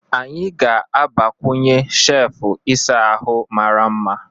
Anyị ga-agbakwunye shefu ịsa ahụ mara mma.